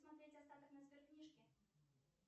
смотреть остаток на сберкнижке